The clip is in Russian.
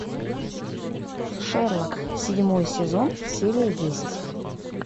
шерлок седьмой сезон серия десять